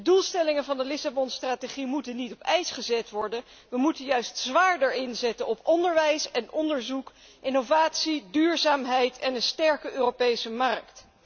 De doelstellingen van de Lissabon strategie moeten niet op ijs worden gezet, we moeten juist zwaarder inzetten op onderwijs en onderzoek, innovatie, duurzaamheid en een sterke Europese markt.